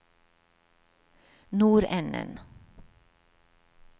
nordenden